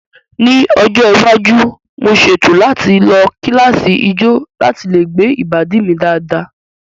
Ní ọjọ́ iwájú, mo ṣètò láti lọ kíláàsì ijó láti lè gbé ìbàdí mi dáadáa